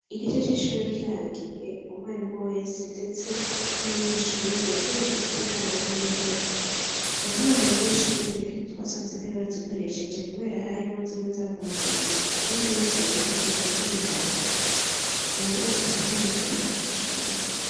Igice c'ishure kirangiye, umwarimu wese ndetse n'umunyeshure yategerezwa gusiga amahera y'intebe, mu ntango z'ishure twasanze intebe bazikoresheje kubera harimwo zimwe zavunaguritse izindi wicayeko zikaguma zinyiganga, ubu dufise intebe nziza cane kw'ishure.